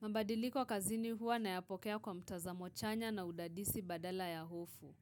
Mabadiliko kazini huwa nayapokea kwa mtazamo chanya na udadisi badala ya hofu.